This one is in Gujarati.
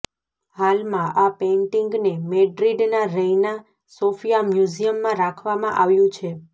હાલમાં આ પેઇન્ટિંગને મૅડ્રિડના રૈના સોફિયા મ્યુઝિયમમાં રાખવામાં આવ્યું છે